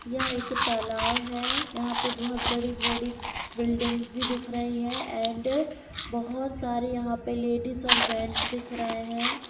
यह एक तालाव है। यहाँ पे बोहोत बड़ी-बड़ी बिल्डिंगस भी दिख रही हैं एंड बोहोत सारे यहाँ पे लेडीज और जेंट्स दिख रहे हैं।